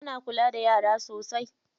Ana kula da yara sosai.